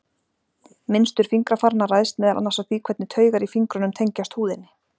Mynstur fingrafaranna ræðst meðal annars af því hvernig taugar í fingrunum tengjast húðinni.